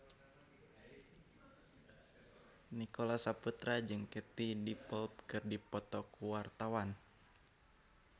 Nicholas Saputra jeung Katie Dippold keur dipoto ku wartawan